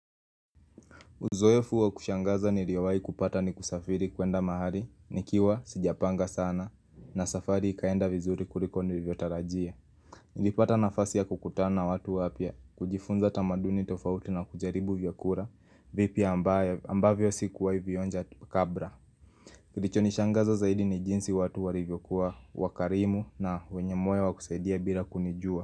Uzoefu wa kushangaza niliyowahi kupata ni kusafiri kuenda mahali, nikiwa sijapanga sana, na safari ikaenda vizuri kuliko nilivyotarajia. Nilipata nafasi ya kukutana na watu wapya, kujifunza tamaduni tofauti na kujaribu vyakula vipya ambavyo sikuwahi vionja kabla Kilichonishangaza zaidi ni jinsi watu walivyokuwa wakarimu na wenye moyo wa kusaidia bila kunijua.